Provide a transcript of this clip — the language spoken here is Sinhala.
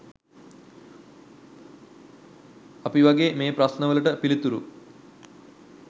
අපි වගේ මේ ප්‍රශ්ණ වලට පිළිතුරු